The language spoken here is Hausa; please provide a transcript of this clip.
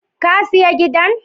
Ka siya gidan?